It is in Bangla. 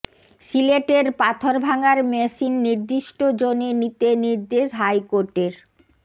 সিলেটের পাথর ভাঙার মেশিন নির্দিষ্ট জোনে নিতে নির্দেশ হাইকোর্টের